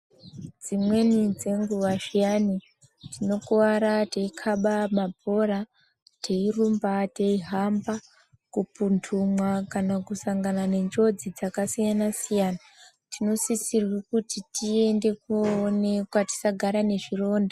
Dzimweni dzenguwa zviyani tikokuwara teikhaba mabhora, teirumba teihamba kupumphunwa kana kusangana nenjodzi dzakasiyana-siyana, tinosisirwa kuti tiende kooonekwa tisagara nezvironda.